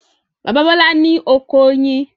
Bàbá Bọ́là ní oko oyin.